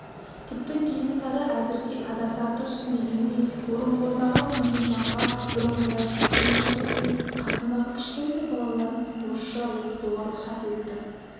тіпті кенесары әзірге адаса тұрсын дегендей орынбордағы күнімжанға бұрынғыдай қысым көрсетпей қасындағы кішкентай балаларын орысша оқытуға рұқсат етті